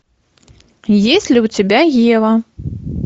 есть ли у тебя ева